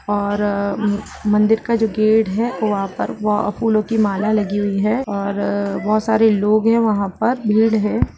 और म मंदिर का जो गेट है वहाँ पर व फूलों की माला लगी हुई है बहोत सारे लोग है वहां पर भीड़ है।